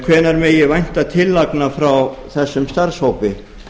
hvenær megi vænta tillagna frá þessum starfshópi